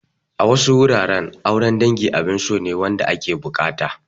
A wasu wuraren, auren dangi abin so ne wanda ake buƙata.